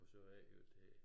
Og så er det jo det